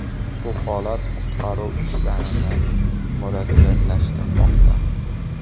Bu holat qutqaruv ishlarini murakkablashtirmoqda.